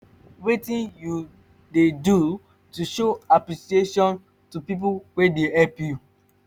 wetin you dey do to show apppreciation to people wey dey help you?